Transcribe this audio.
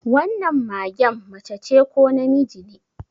Wannan magen macece ko namiji ne?